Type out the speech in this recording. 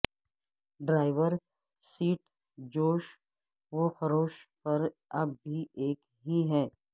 driver seat جوش و خروش پر اب بھی ایک ہی ہے